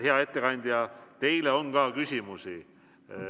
Hea ettekandja, teile on ka küsimusi.